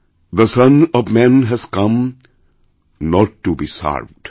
the son of man has come not to be served